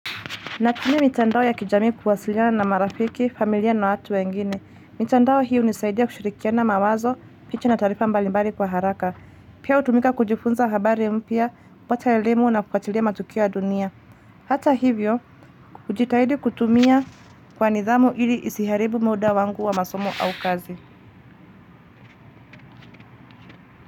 Natumia mitandao ya kijamii kuwasiliana na marafiki, familia na watu wengine. Mitandao hii hunisaidia kushirikiana mawazo, picha na taarifa mbalimbali kwa haraka. Pia utumika kujifunza habari mpya, kupata ya elimu na kufatilia matukio ya dunia. Hata hivyo, ujitahidi kutumia kwa nidhamu ili isiharibu muda wangu wa masomo au kazi.